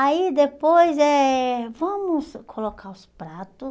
Aí depois eh, vamos colocar os prato.